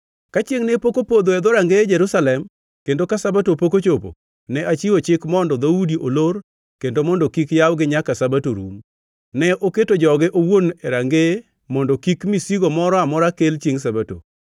Ka chiengʼ ne pok opodho e dhorangeye Jerusalem kendo ka Sabato pok ochopo, ne achiwo chik mondo dhoudi olor kendo mondo kik yawgi nyaka Sabato rum. Ne oketo joge owuon e rangeye mondo kik misigo moro amora kel chiengʼ Sabato.